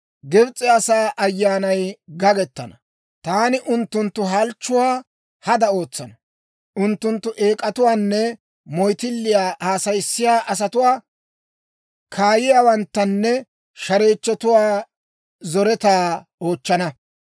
Gibs'e asaa ayyaanay gagettana; taani unttunttu halchchuwaa hada ootsana. Unttunttu eek'atuwaanne moyttilliyaa haasayissiyaa asatuwaa, kaayiyaawanttanne shareechchotuwaa zoretaa oochchana.